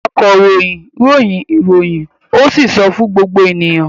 Akọ̀ròyìn ròyìn ìròyìn ó sì sọ fún gbogbo ènìyàn.